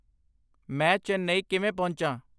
ਮੈਂ ਚੇਨਈ ਕਿਵੇਂ ਪਹੁੰਚਾਂ